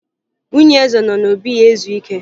Nwunye eze nọ n'obi ya ezu ike